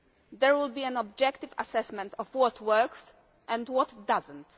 There will be an objective assessment of what works and what does not.